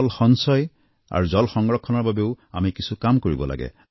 জল সঞ্চয় আৰু জল সংৰক্ষণৰ বাবেও আমি কিছু কাম কৰিব লাগে